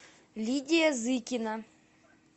лидия зыкина